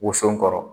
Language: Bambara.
Woson kɔrɔ